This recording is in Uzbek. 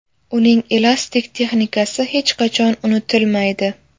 Uning elastik texnikasi hech qachon unutilmaydi.